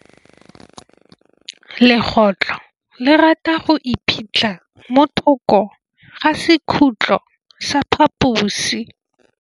Legôtlô le rata go iphitlha mo thokô ga sekhutlo sa phaposi.